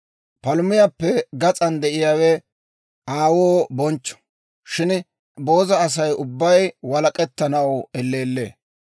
Palumiyaappe gas'an de'iyaawe aawoo bonchcho; shin booza Asay ubbay walak'ettanaw elleellee.